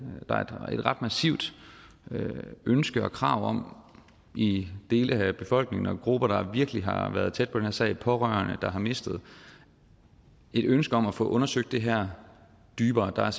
ret massivt ønske og krav om i dele af befolkningen og fra grupper der virkelig har været tæt på den her sag pårørende der har mistet et ønske om at få undersøgt det her dybere der er